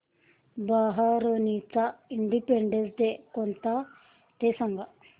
बहारीनचा independence day कोणता ते सांगा